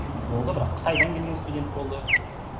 болды бірақ қытайдан келген студент болды